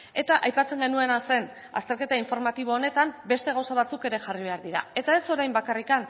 eta aipatzen genuena zen azterketa informatibo honetan beste gauza batzuk ere jarri behar dira eta ez orain bakarrik